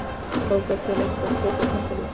Þangað til einhver tekur tappann úr.